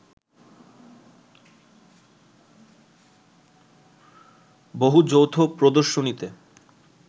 বহু যৌথ প্রদর্শনীতে